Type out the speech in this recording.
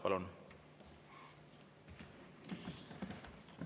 Palun!